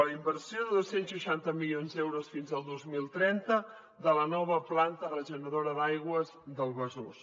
la inversió de dos cents i seixanta milions d’euros fins al dos mil trenta de la nova planta regeneradora d’aigües del besòs